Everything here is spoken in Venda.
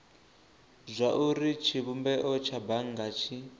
zwauri tshivhumbeo tsha bannga tshi